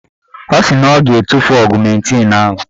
Ọ sị na ọ ga-etufu ọgụmentịn ahụ.